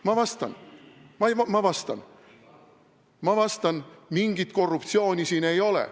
Ma vastan, ma vastan, ma vastan: mingit korruptsiooni siin ei ole.